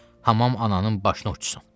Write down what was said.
Hammam ananın başını oxtsun.